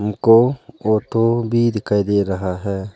हमको ऑटो भी दिखाई दे रहा है।